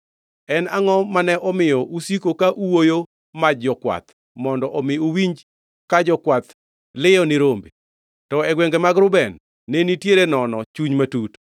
En angʼo momiyo ne usiko ka uoyo maj jokwath mondo omi uwinj ka jokwath liyo ni rombe? To e gwenge mag Reuben ne nitiere nono chuny matut.